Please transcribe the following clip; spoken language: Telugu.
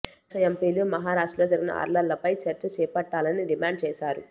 విపక్ష ఎంపీలు మహారాష్టల్రో జరిగిన అర్లర్లపై చర్చ చేపట్టాలని డిమాండ్ చేశారు